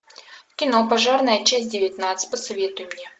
кино пожарная часть девятнадцать посоветуй мне